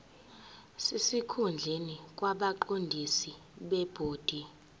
sesikhundleni kwabaqondisi bebhodi